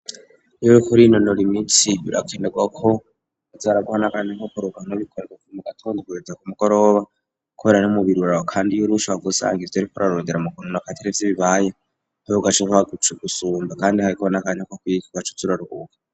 Uriko urinonora imitsi birakenerwa ko azaraguhanakanya nko kuruhuka no mu gatondo kugeza ku mugoroba kubera n'umubiri uraruha kandi iyurushe wahava usanga ivyo wariko urarondera bikuru atarivyo bibaye ugacuruha gusumba kandi hariho nakanya ko kwiga ugacuza uraruhuka